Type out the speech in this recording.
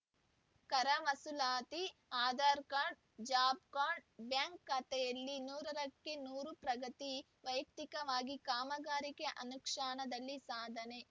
ಕರ ವಸೂಲಾತಿ Aadhaar card job card bank ಖಾತೆಯಲ್ಲಿ ನೂರಕ್ಕೆ ನೂರು ಪ್ರಗತಿ ವೈಯಕ್ತಿಕ ಕಾಮಗಾರಿ ಅನುಷ್ಠಾನದಲ್ಲಿ ಸಾಧನೆ